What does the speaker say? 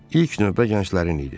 İlk növbə gənclərin idi.